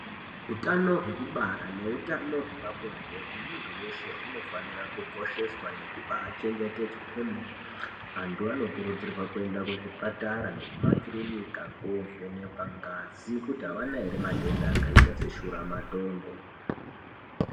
Utano hwekubara nehutano hwepabonde wemuntu weshe hunofanira nekosheswa nekubaa chengetedzwa kwemene antu anokurudzirwa kuenda kuzvipatara nemumakirunika kuvhenkwa ngazi kuti havana here matenda akati seshura matongo.